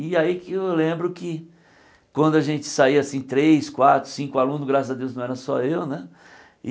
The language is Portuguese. E aí que eu lembro que quando a gente saía assim, três, quatro, cinco alunos, graças a Deus não era só eu, né?